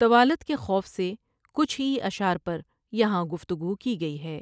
طوالت کے خوف سے کچھ ہی اشعار پر یہاں گفتگو کی گئی ہے ۔